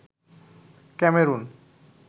Cameroon